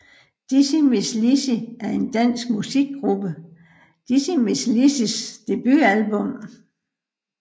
Dizzy Mizz Lizzy er den danske musikgruppe Dizzy Mizz Lizzys debutalbum